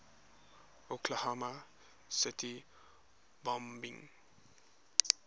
oklahoma city bombing